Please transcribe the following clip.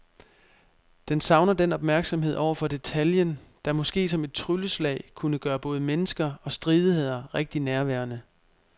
Den savner den opmærksomhed over for detaljen, der måske som et trylleslag kunne gøre både mennesker og stridigheder rigtig nærværende.